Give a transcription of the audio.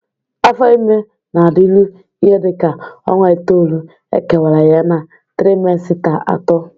Afo ime na-adịru ihe dị ka ọnwa itoolu,e kewara ya na trimesita atọ.